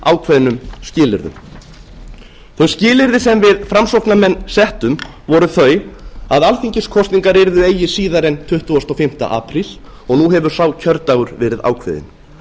ákveðnum skilyrðum þau skilyrði sem við framsóknarmenn settum voru þau að alþingiskosningar yrðu eigi síðar en tuttugasta og fimmta apríl og nú hefur sá kjördagur verið ákveðinn